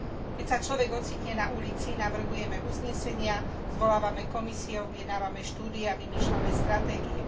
Keď sa človek ocitne na ulici, navrhujeme uznesenia, zvolávame komisie, objednávame štúdie a vymýšľame stratégie.